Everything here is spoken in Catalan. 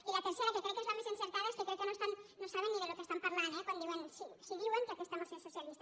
i la tercera que crec que és la més encertada és que crec que no saben ni del que estan parlant eh si diuen que aquesta moció és socialista